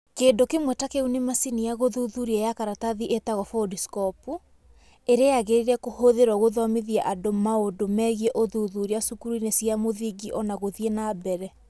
Kĩndũ kĩmwe ta kĩu nĩ macini ya gũthuthuria ya karatathi ĩtagwo Foldscope, ĩrĩa yagĩrĩire kũhũthĩrũo gũthomithia andũ maũndũ megiĩ ũthuthuria cukuru-inĩ cia mũthingi ona gũthiĩ na mbere